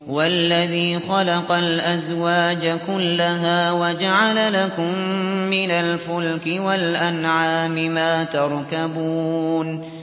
وَالَّذِي خَلَقَ الْأَزْوَاجَ كُلَّهَا وَجَعَلَ لَكُم مِّنَ الْفُلْكِ وَالْأَنْعَامِ مَا تَرْكَبُونَ